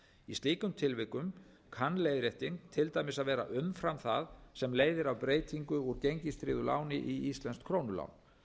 í slíkum tilvikum kann leiðrétting til dæmis að vera umfram það sem leiðir af breytingu úr gengistryggðu láni í íslenskt